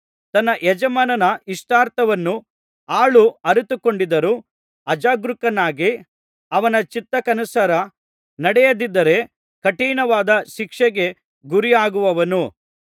ತನ್ನ ಯಜಮಾನನ ಇಷ್ಟಾರ್ಥವನ್ನು ಆಳು ಅರಿತುಕೊಂಡಿದ್ದರೂ ಅಜಾಗರೂಕನಾಗಿ ಅವನ ಚಿತ್ತಕ್ಕನುಸಾರ ನಡೆಯದಿದ್ದರೆ ಕಠಿಣವಾದ ಶಿಕ್ಷೆಗೆ ಗುರಿಯಾಗುವನು